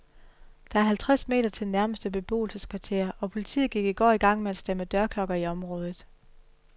Der er halvtreds meter til nærmeste beboelseskvarter, og politiet gik i går i gang med at stemme dørklokker i området.